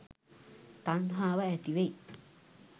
තණ්හාව ඇති වෙයි